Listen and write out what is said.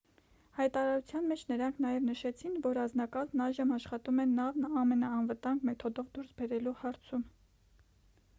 հայտարարության մեջ նրանք նաև նշեցին որ անձնակազմն այժմ աշխատում է նավն ամենաանվտանգ մեթոդով դուրս բերելու հարցում